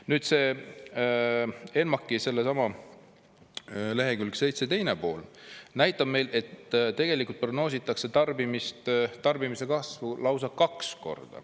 Nüüd see ENMAK-i sellesama lehekülg 7 teine pool näitab, et tegelikult prognoositakse tarbimist, tarbimise kasvu lausa kaks korda.